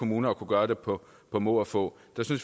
kommuner at kunne gøre det på må og få